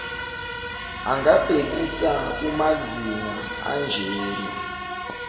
angabhekisa kumazinga anjena